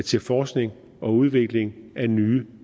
til forskning og udvikling af nye